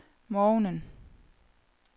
morgenen